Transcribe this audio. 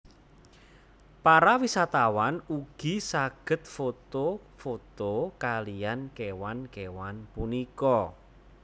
Para wisatawan ugi saged foto foto kaliyan kéwan kéwan punika